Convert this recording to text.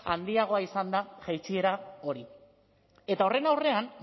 handiagoa izan da jaitsiera hori eta horren aurrean